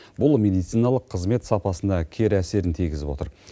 бұл медициналық қызмет сапасына кері әсерін тигізіп отыр